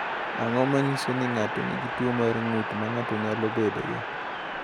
Ang’o ma nyiso ni ng’ato nigi tuwo mar ng’ut ma ng’ato nyalo bedogo?